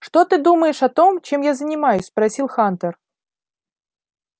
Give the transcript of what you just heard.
что ты думаешь о том чем я занимаюсь спросил хантер